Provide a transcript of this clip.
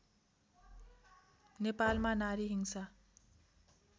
नेपालमा नारी हिंसा